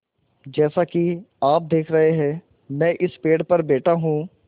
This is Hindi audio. जैसा कि आप देख रहे हैं मैं इस पेड़ पर बैठा हूँ